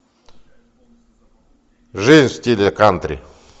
жизнь в стиле кантри